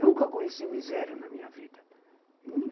Nunca conheci miséria na minha vida.